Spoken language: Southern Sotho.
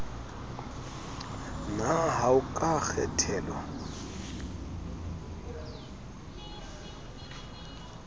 na ha o ka kgethelwa